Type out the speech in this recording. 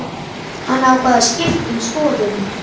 Hann ákvað að skipta um skoðun.